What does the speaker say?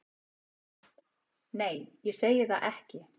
Nei, ég segi það ekki.